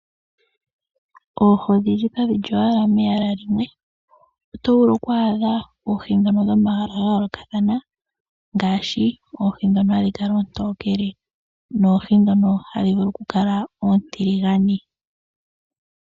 Oohi kadhili owala molwaala lumwe oto vulu okwaadha oohi dhono dhomayala ga yoolokathana ngaashi oohi dhono hadhi kala oontokele noohi dhono hadhi vulu oku kala oontiligane.